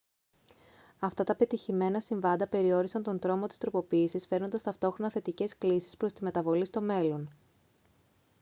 αυτά τα επιτυχημένα συμβάντα περιόρισαν τον τρόμο της τροποποίησης φέρνοντας ταυτόχρονα θετικές κλίσεις προς τη μεταβολή στο μέλλον